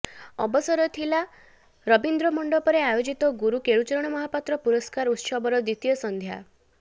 ଅବସର ଥିଲା ରବୀନ୍ଦ୍ର ମଣ୍ଡପରେ ଆୟୋଜିତ ଗୁରୁ କେଳୁଚରଣ ମହାପାତ୍ର ପୁରସ୍କାର ଉତ୍ସବର ଦ୍ୱିତୀୟ ସଂଧ୍ୟାର